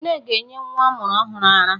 Nne ga-enye nwa ọ mụrụ ọhụrụ ara